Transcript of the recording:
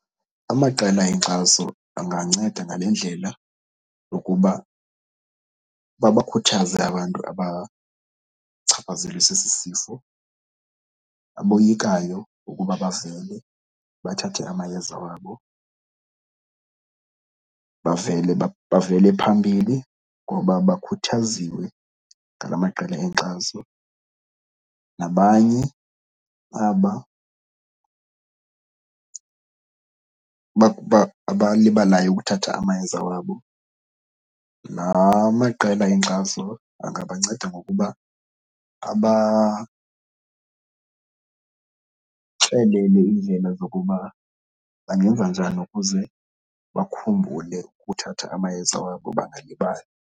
Amaqela enkxaso anganceda ngale ndlela yokuba babakhuthaze abantu abachaphazelwe sesi sifo, aboyikayo ukuba bavele bathathe amayeza wabo bavele bavele phambili ngoba bakhuthaziwe ngala maqela enkxaso. Nabanye aba abalibalayo ukuthatha amayeza wabo, laa maqela enkxaso angabanceda ngokuba abaxelele iindlela zokuba bangenza njani ukuze bakhumbule ukuthatha amayeza wabo bangalibali.